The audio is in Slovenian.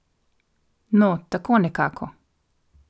No, tako nekako.